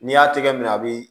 N'i y'a tɛgɛ minɛ a bi